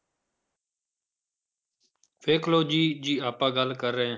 ਦੇਖ ਲਓ ਜੀ, ਜੀ ਆਪਾਂ ਗੱਲ ਕਰ ਰਹੇ।